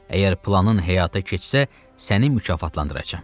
Əgər planın həyata keçsə, səni mükafatlandıracam.